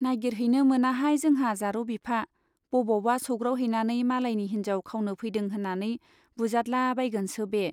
नाइगिरहैनो मोनाहाय जोंहा जारौ बिफा बबावबा सौग्रावहैनानै मालायनि हिन्जाव खावनो फैदों होन्नानै बुजादला बायगोनसो बे।